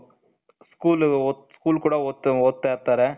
school school ಕೂಡ ಓದ್ತಾ ಇರ್ತಾರೆ,